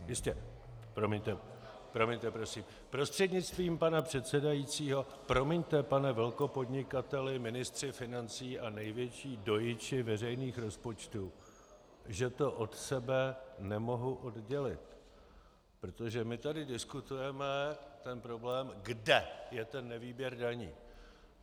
Prostřednictvím pana předsedajícího, promiňte, pane velkopodnikateli, ministře financí a největší dojiči veřejných rozpočtů, že to od sebe nemohu oddělit, protože my tu diskutujeme ten problém, kde je ten nevýběr daní.